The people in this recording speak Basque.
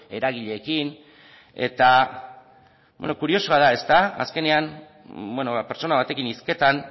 eragileekin eta kuriosoa da azkenean pertsona batekin hizketan